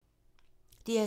DR2